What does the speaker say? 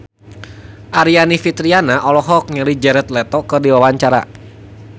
Aryani Fitriana olohok ningali Jared Leto keur diwawancara